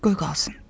Qoy qalsın.